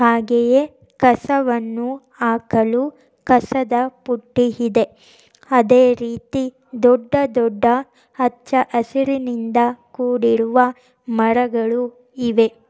ಹಾಗೆಯೇ ಕಸವನ್ನು ಹಾಕಲು ಕಸದ ಬುಟ್ಟಿ ಇದೆ ಅದೇರೀತಿ ದೊಡ್ಡದೊಡ್ಡ ಹಚ್ಚ ಹಸಿರಿನಿಂದ ಕೂಡಿರುವ ಮರಗಳು ಇವೆ.